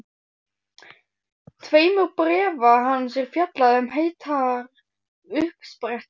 tveimur bréfa hans er fjallað um heitar uppsprettur.